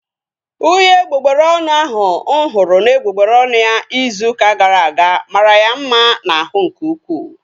Uhie egbugbere ọnụ ahu mụ hụrụ n'egbugbere ọnụ ya izu ụka gara aga mara ya mma n'ahụ nke ukwuu